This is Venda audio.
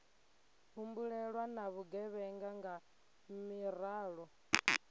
humbulelwa na vhugevhenga nga miraḓo